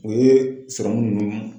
O ye sɔrɔmu ninnu